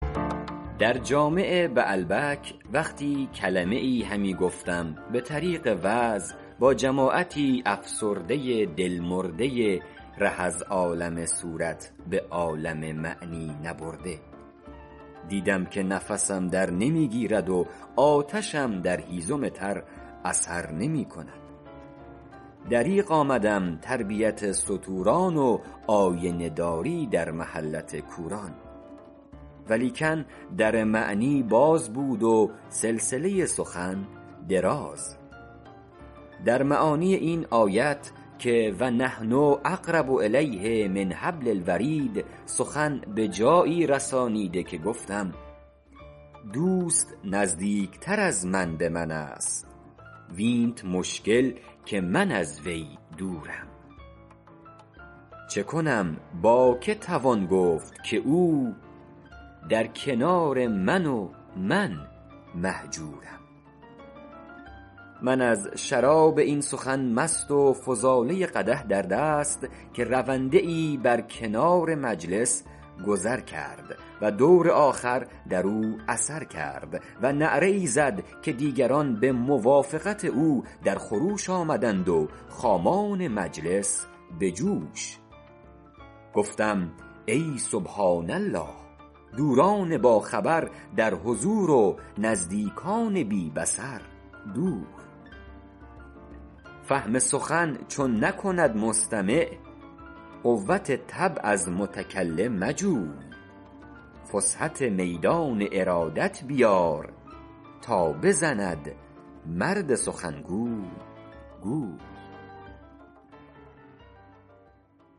در جامع بعلبک وقتی کلمه ای همی گفتم به طریق وعظ با جماعتی افسرده دل مرده ره از عالم صورت به عالم معنی نبرده دیدم که نفسم در نمی گیرد و آتشم در هیزم تر اثر نمی کند دریغ آمدم تربیت ستوران و آینه داری در محلت کوران ولیکن در معنی باز بود و سلسله سخن دراز در معانی این آیت که و نحن اقرب الیه من حبل الورید سخن به جایی رسانیده که گفتم دوست نزدیکتر از من به من است وینت مشکل که من از وی دورم چه کنم با که توان گفت که او در کنار من و من مهجورم من از شراب این سخن مست و فضاله قدح در دست که رونده ای بر کنار مجلس گذر کرد و دور آخر در او اثر کرد و نعره ای زد که دیگران به موافقت او در خروش آمدند و خامان مجلس به جوش گفتم ای سبحان الله دوران باخبر در حضور و نزدیکان بی بصر دور فهم سخن چون نکند مستمع قوت طبع از متکلم مجوی فسحت میدان ارادت بیار تا بزند مرد سخنگوی گوی